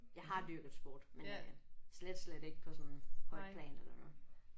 Jeg har dyrket sport men øh slet slet ikke på sådan højt plan eller noget